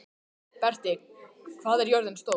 Berti, hvað er jörðin stór?